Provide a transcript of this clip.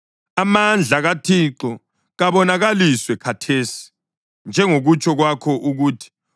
Amandla kaThixo kabonakaliswe khathesi, njengokutsho kwakho ukuthi: